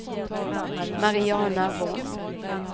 Mariana Von